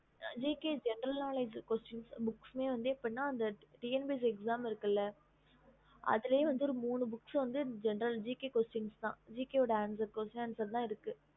gk general knowledge book TNPSC exam இருக்கு இல்ல அதுலே மூணு books gk question answer தா இருக்கு